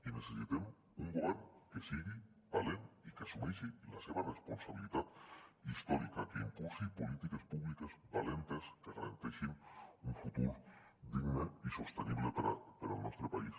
i necessitem un govern que sigui valent i que assumeixi la seva responsabilitat històrica que impulsi polítiques públiques valentes que garanteixin un futur digne i sostenible per al nostre país